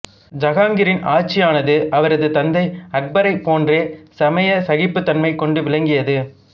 ஜஹாங்கிரின் ஆட்சியானது அவரது தந்தை அக்பரைப் போன்றே சமய சகிப்புத்தன்மை கொண்டு விளங்கியது